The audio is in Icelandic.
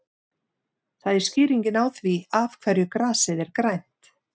Það er skýringin á því af hverju grasið er grænt.